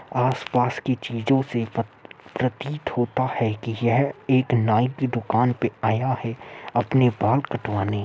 आसपास की चीजो से प्र प्रतीत होता है कि यह एक नाई की दुकान पे आया है अपने बाल कटवाने।